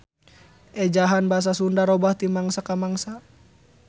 Ejahan basa Sunda robah ti mangsa ka mangsa.